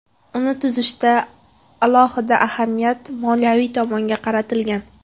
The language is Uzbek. Uni tuzishda alohida ahamiyat moliyaviy tomonlarga qaratilgan.